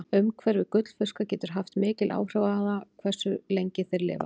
Umhverfi gullfiska getur haft mikil áhrif á það hversu lengi þeir lifa.